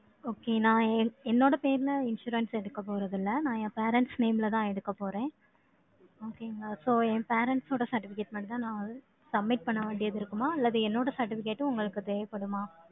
Okay, நான் என் என்னோட பேர்ல, insurance எடுக்கப் போறதில்லை. நான், என் parents name லதான், எடுக்கப் போறேன். Okay ங்களா? So, என் parents ஓட, certificate மட்டும்தான், நான் Submit பண்ண வேண்டியது இருக்குமா? அல்லது என்னோட certificate உம் உங்களுக்கு தேவைப்படுமா?